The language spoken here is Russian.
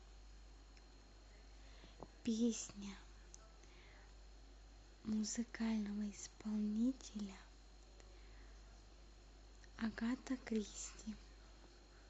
песня музыкального исполнителя агата кристи